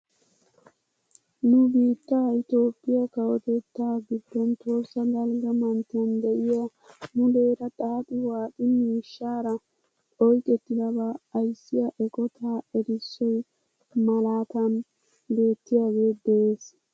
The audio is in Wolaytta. NU biittaa itoophphiyaa kawotettaa giddon tohossa dalgga manttiyaan de'iyaa muleera xaaxi waaxi miishshaara oyqettidabaa ayssiyaa eqotaa erissoy malaatan beettiyaage de'ees!